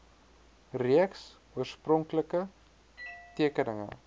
reeks oorspronklike tekeninge